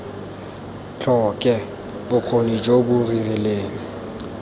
tlhoke bokgoni jo bo rileng